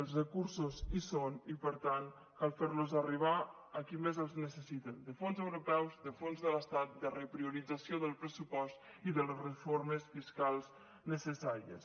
els recursos hi són i per tant cal fer los arribar a qui més els necessita de fons europeus de fons de l’estat de repriorització del pressupost i de les reformes fiscals necessàries